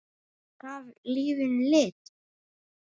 Hann gaf lífinu lit.